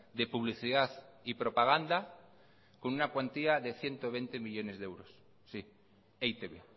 de publicidad y propaganda con una cuantía de ciento veinte millónes de euros sí e i te be